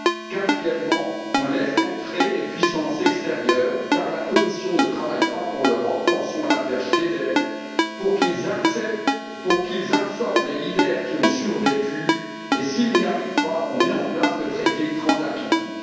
Quatrièmement, on laisse entrer les puissances extérieures, car la Commission ne travaille pas pour l'Europe pensons à l'affaire Schneider pour qu'elles absorbent les leaders qui ont survécu et, si elles n'y arrivent pas, on met en place le traité transatlantique.